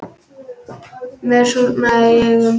Mér súrnaði í augum.